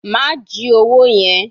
Ma ji owó yẹn.